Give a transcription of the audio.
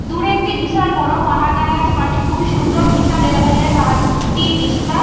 দূরে একটি বিশাল বড় পাহাড় দেখা যাচ্ছে। পাহাড়টি খুবই সুন্দর। বিশাল এলাকা জুড়ে পাহাড়টির বিস্তার।